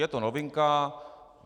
Je to novinka.